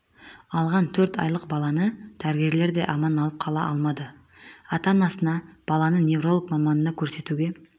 алған төрт айлық баланы дәрігерлер де аман алып қала алмады ата-анасына баланы невролог маманына көрсетуге